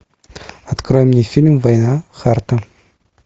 открой мне фильм война харта